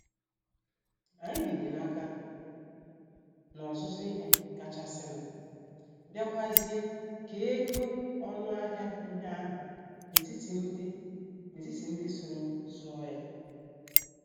Anyị binyere aka n' ọzụzụ ihe kachasinu, biakwazie kee ego ọnụ ahịa ihe ahụ n'etiti ndị n'etiti ndị soro zụọ ya